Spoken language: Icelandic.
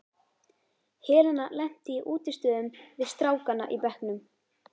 Helena lenti í útistöðum við strákana í bekknum.